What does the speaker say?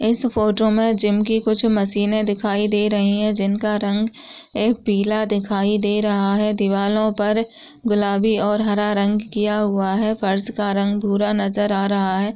इस फोटो में जिम की कुछ मशीने दिखाई दे रही हैं जिनका रंग ए पीला दिखाई दे रहा है दीवालों पर गुलाबी और हरा रंग किया हुआ है फर्श का रंग भूरा नजर आ रहा है।